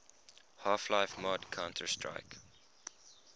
half life mod counter strike